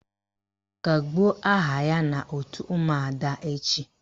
Kagbuo aha ya n' òtù ụmụada echi!